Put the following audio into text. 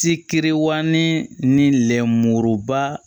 Si teriwalen ni lɛmuruba